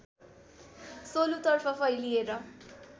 सोलुतर्फ फैलिएर